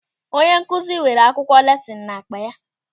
Onye nkụzi weere akwụkwọ lesịnụ n'akpa ya.